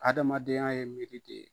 Adamaden ya ye miiri de ye.